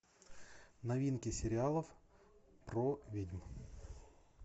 новинки сериалов про ведьм